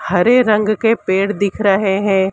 हरे रंग के पेड़ दिख रहे हैं।